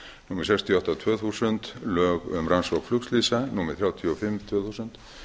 númer sextíu og átta tvö þúsund lög um rannsókn flugslysa númer þrjátíu og fimm tvö þúsund